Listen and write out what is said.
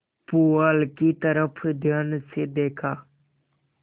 पुआल की तरफ ध्यान से देखा